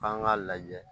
K'an k'a lajɛ